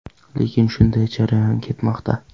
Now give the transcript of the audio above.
Lekin shunday jarayon ketmoqda.